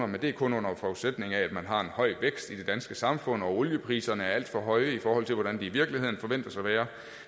men det er kun under forudsætning af at man har en høj vækst i det danske samfund og oliepriserne er alt for høje i forhold til hvordan de i virkeligheden forventes at være